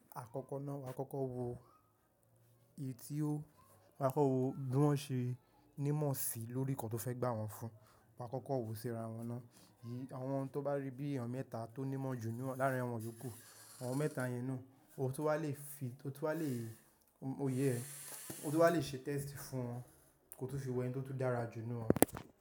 Àkọ́kọ́ náà wà á kọ́kọ́ wo èyí tí ó won á kọ́kọ́ wo bí wọ́n ṣe nímọ̀ sí lórí nǹkan tó fẹ́ gbà wọ́n fún, won á kọ́kọ́ wò sí ara wọn ná. Ìyí àwọn tí ó bá rí bí ènìyàn mẹ́ta tó nímọ̀ ju láàrín àwọn iyoku, àwọn mẹ́ta yẹn náà, o tu wà lè fi, o tó wà lè, òye ẹ, o tu wà lè ṣe test fún wọn, ko tun fi wo ẹnio tun dára jù inú wọn.